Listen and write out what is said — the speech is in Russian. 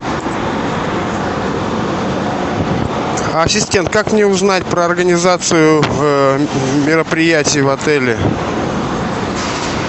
ассистент как мне узнать про организацию мероприятий в отеле